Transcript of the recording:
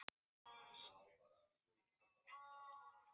Bjargmundur, hvaða mánaðardagur er í dag?